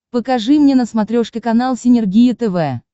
покажи мне на смотрешке канал синергия тв